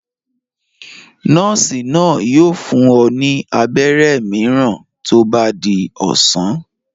Nọ́ọ́sì náà yóò fún ọ ní abẹ́rẹ́ mìíràn tó bá di ọ̀sán.